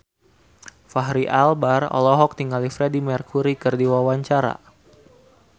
Fachri Albar olohok ningali Freedie Mercury keur diwawancara